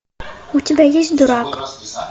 у тебя есть дурак